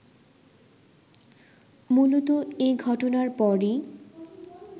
মূলত এ ঘটনার পরই